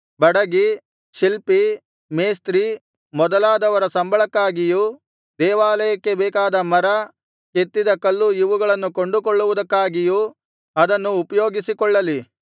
ಬಡಗಿ ಶಿಲ್ಪಿ ಮೇಸ್ತ್ರಿ ಮೊದಲಾದವರ ಸಂಬಳಕ್ಕಾಗಿಯೂ ದೇವಾಲಯಕ್ಕೆ ಬೇಕಾದ ಮರ ಕೆತ್ತಿದ ಕಲ್ಲು ಇವುಗಳನ್ನು ಕೊಂಡುಕೊಳ್ಳುವುದಕ್ಕಾಗಿಯೂ ಅದನ್ನು ಉಪಯೋಗಿಸಿಕೊಳ್ಳಲಿ